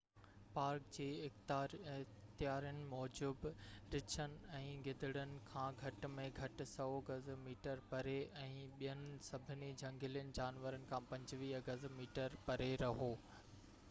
Park جي اختيارين موجب، رڇن ۽ گدڙن کان گهٽ ۾ گهٽ 100 گز/ميٽر پري ۽ ٻين سڀني جهنگلي جانورن کان 25 گز/ميٽر پري رهو!